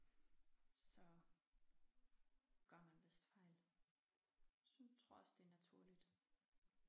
Så gør man vist fejl tror også det naturligt